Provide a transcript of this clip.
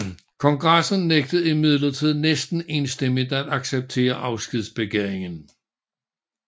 Kongressen nægtede imidlertid næsten enstemmigt at acceptere afskedbegæringen